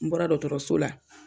N bɔra dɔgɔtɔrɔso la